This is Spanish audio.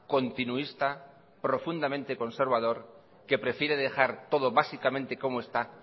continuista profundamente conservador que prefiere dejar todo básicamente como está